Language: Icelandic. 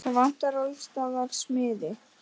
Það vantar alls staðar smiði.